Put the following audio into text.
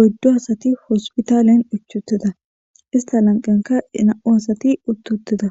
oyddu asati hospitaalen ichutida ista lanqenka ina7u asati uttutida